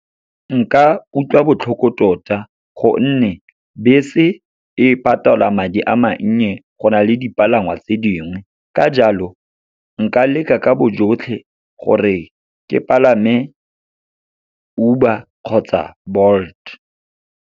Nka utlwa botlhoko tota, gonne bese e patalwa madi a mannye go na le dipalangwa tse dingwe. Ka jalo, nka leka ka bojotlhe gore ke palame Uber kgotsa Bolt.